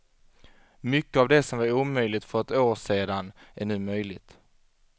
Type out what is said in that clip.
Mycket av det som var omöjligt för ett år sedan är nu möjligt.